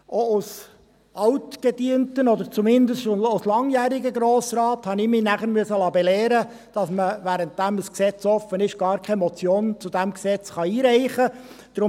Auch als altgedienter, oder zumindest als langjähriger Grossrat, habe ich mich nachher belehren lassen müssen, dass man, während ein Gesetz offen ist, gar keine Motion zu diesem Gesetz einreichen kann.